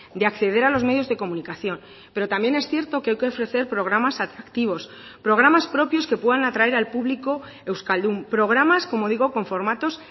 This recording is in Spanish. de acceder a los medios de comunicación pero también es cierto que hay que ofrecer programas atractivos programas propios que puedan atraer al público euskaldun programas como digo con formatos